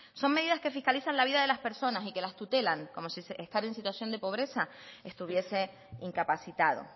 son medidas que fiscalizan la vida de las personas y que las tutelan como si estar en situación de pobreza estuviese incapacitado